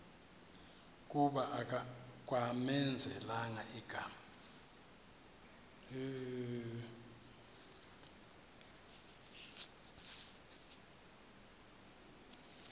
kuba kwamenzela igama